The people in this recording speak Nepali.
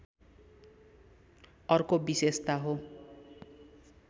अर्को विशेषता हो